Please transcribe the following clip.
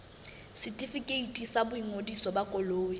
setefikeiti sa boingodiso ba koloi